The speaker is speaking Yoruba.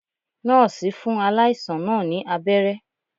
Nọ́ọ̀sì fún aláìsàn náà ní abẹ́rẹ́